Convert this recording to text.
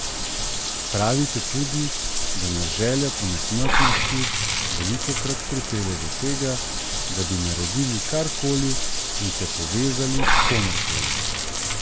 Pravite tudi, da nas želja po nesmrtnosti velikokrat pripelje do tega, da bi naredili kar koli in se povezali s komer koli.